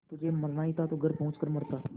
तुझे मरना ही था तो घर पहुँच कर मरता